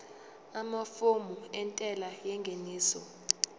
amafomu entela yengeniso